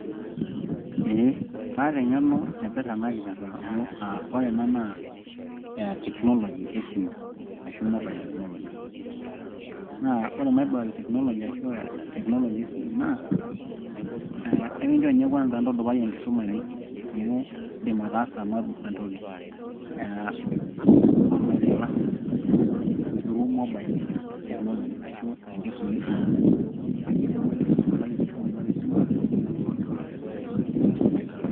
eeh, kaata eng'eno naipirrta ena kipirrta amu ore ena naa technology esimu ashu mobile technology naa ore mobile technology ashu technology esimu naa ekincho ninye kwanza intudupai enkisuma ino amui indim ataasa entoki eh,[ccs[online classes through mobile technology ashu tenkisuma esimu neeku indim aitudupai enkisuma ino tesimu.